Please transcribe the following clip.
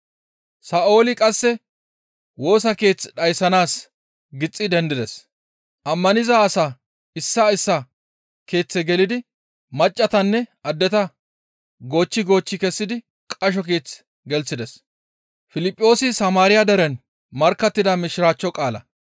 Sa7ooli qasse Woosa Keeth dhayssanaas gixxi dendides; ammaniza asaa issaa issaa keeththe gelidi maccassatanne addeta goochchi goochchi kessidi qasho keeth gelththides.